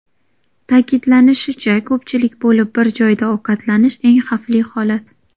Ta’kidlanishicha, ko‘pchilik bo‘lib bir joyda ovqatlanish eng xavfli holat.